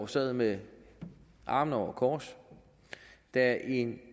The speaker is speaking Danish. sad med armene over kors da en